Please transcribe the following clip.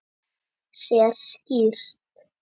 Sér skýrt.